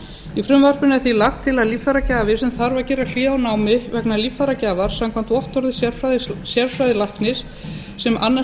í frumvarpinu er því lagt til að líffæragjafi sem þarf að gera hlé á námi vegna líffæragjafar samkvæmt vottorði sérfræðilæknis sem annast